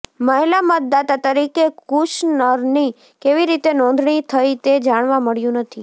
મહિલા મતદાતા તરીકે કુશનરની કેવી રીતે નોંધણી થઈ તે જાણવા મળ્યું નથી